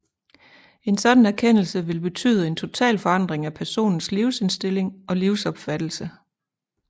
En sådan erkendelse vil betyde en total forandring af personens livsindstilling og livsopfattelse